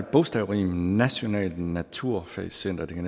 bogstavrim nationalt naturfagcenter det kan